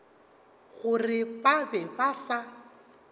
gore ba be ba sa